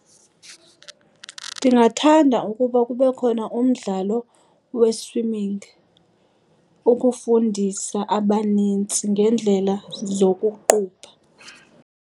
Ndingathanda ukuba kube khona umdlalo we-swimming ukufundisa abanintsi ngeendlela zokuqubha.